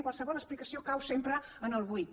qualsevol explicació cau sempre en el buit